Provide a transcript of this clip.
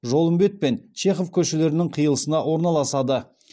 жолымбет пен чехов көшелерінің қиылысына орналасады